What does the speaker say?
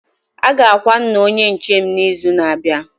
Aga akwa nna Onye nche m na izu na abịa